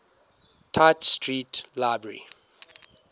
tite street library